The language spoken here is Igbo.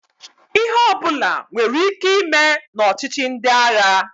Ihe ọbụla nwere ike ime na ọchịchi ndị agha.